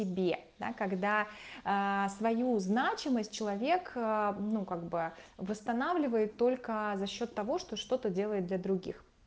тебе да когда свою значимость человек ну как бы восстанавливает только за счёт того что что-то делает для других